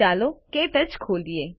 ચાલો ક્ટચ ખોલીએ